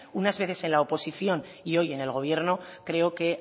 unas veces en la oposición y hoy en el gobierno creo que